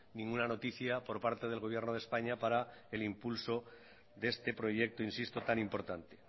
ninguna noticia por parte del gobierno de españa para el impulso de este proyecto insisto tan importante